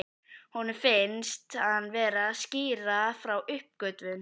Honum finnst hann vera að skýra frá uppgötvun.